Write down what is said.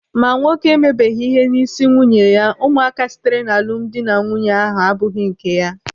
Ma nwoke emebeghi ihe isi nwunye ya, ụmụaka sitere n'alụmdi na nwunye ahụ abụghị nke ya.